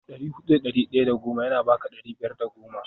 dari hudu da dari daya da goma yana baka dari biyar da goma